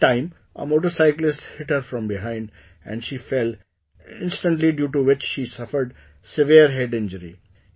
At that time a motorcyclist hit her from behind and she fell instantly due to which she suffered severe head injury